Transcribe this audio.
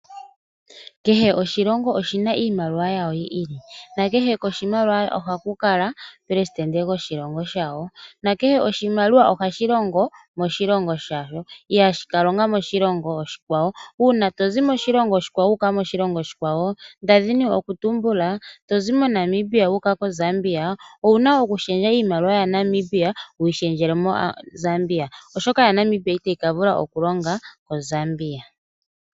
Kehe oshilongo oshi na iimaliwa yasho yi ili. Nakehe koshimaliwa ohaku kala omuperesidente goshilongo shawo. Nakehe oshimaliwa ohashi longo moshilongo shasho, ihashi ka longa moshilongo oshikwawo, nonando mu yimwe ohayi longo. Uuna to zi moshilongo oshikwawo wu uka moshilongo oshikwawo, nda dhini okutumbula to zi moNamibia wu uka moZambia owu na okushendja iimaliwa yaNamibia wu yi shendjele miimaliwa yaZambia, oshoka yaNamibia itayi ka vula okulonga moZambia.